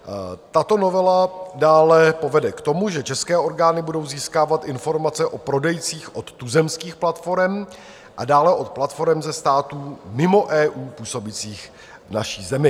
Tato novela dále povede k tomu, že české orgány budou získávat informace o prodejcích od tuzemských platforem a dále od platforem ze států mimo EU působících v naší zemi.